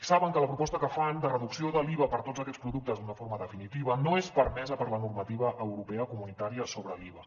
saben que la proposta que fan de reducció de l’iva per a tots aquests productes d’una forma definitiva no és permesa per la normativa europea comunitària sobre l’iva